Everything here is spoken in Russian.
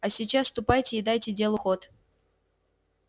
а сейчас ступайте и дайте делу ход